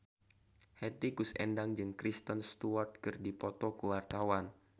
Hetty Koes Endang jeung Kristen Stewart keur dipoto ku wartawan